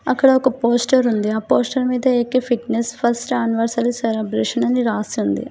అక్కడ ఒక పోస్టర్ ఉంది ఆ పోస్టర్ మీద A K fitness first anniversary celebration అని రాసింది.